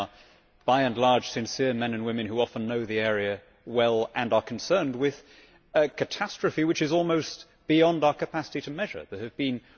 They are, by and large, sincere men and women who often know the area well and are concerned with a catastrophe which is almost beyond our capacity to measure. There have been